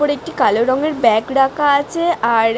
উপরে একটি কালো রঙের ব্যাগ রাখা আছে আর --